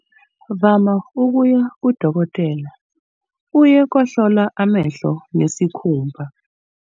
Vama ukuya kudokotela uye kohlola amehlo nesikhumba.